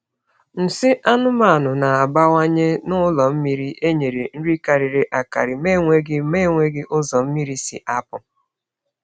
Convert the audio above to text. Nsị anụmanụ na-abawanye n’ụlọ mmiri e nyere nri karịrị akarị ma enweghị ma enweghị ụzọ mmiri si apụ.